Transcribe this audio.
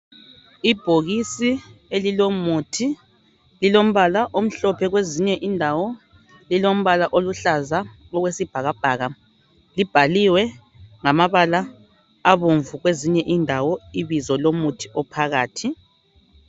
Ibhokisi elilomuthi lilombala omhlophe kwezinye indawo lilombala oluhlaza okwesibhakabhaka libhaliwe ngamabala abomvu kwezinye indawo ibizo lomuthi ophakathi.